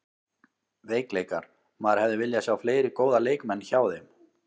Veikleikar: Maður hefði viljað sjá fleiri góða leikmenn hjá þeim.